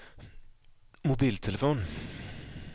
mobiltelefon